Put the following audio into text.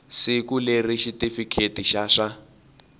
siku leri xitifiketi xa swa